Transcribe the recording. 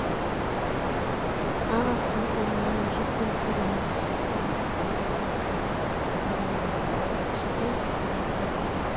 ኣብ ኣክሱም ፅዮን ማርያም ሺፎን ተከዲና ፍሽክ ትብል ኣላ መነፀር ፃዕዳ ነፅላ ኣለዋ ። ዋጋ እቲ ሽፎን ክንደይ ይከውን ?